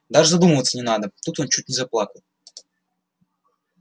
даже задумываться не надо тут он чуть не заплакал